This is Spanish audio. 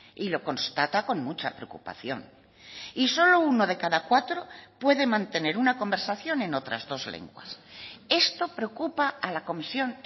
y lo constata con mucha preocupación y solo uno de cada cuatro puede mantener una conversación en otras dos lenguas esto preocupa a la comisión